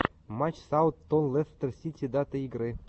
матч сауд тон лестер сити дата игры